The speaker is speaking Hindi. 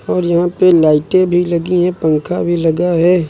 और यहां पे लाइटे भी लगी है पंखा भी लगा है।